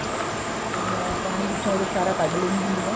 ਤੇ ਮੈਂ ਪਾਣੀ ਵਿੱਚੋਂ ਉਹਦੇ ਸਾਰਾ ਕੱਢ ਲੈਨੀ ਹੁੰਨੀ ਆ